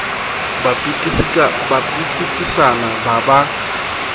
ba pitikisana ba ba ba